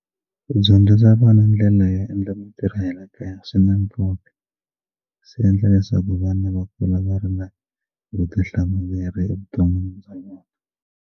Ku dyondzisa vana ndlela yo endla mitirho ya le kaya swi na nkoka swi endla leswaku vana va kula va ri na vutihlamuleri eka vumundzuku bya vona.